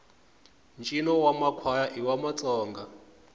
ntjino wamakwaya iwamatsonga